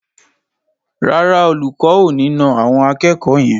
Rárá, Olùkọ́ ò ní na àwọn akẹ́kọ̀ọ́ yẹn.